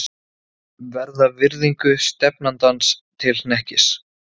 Verða virðingu stefnandans til hnekkis.